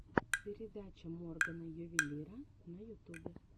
передача моргана ювелира на ютубе